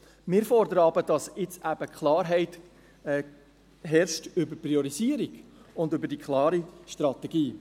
Wir fordern aber, dass jetzt eben Klarheit herrscht über die Priorisierung und über die klare Strategie.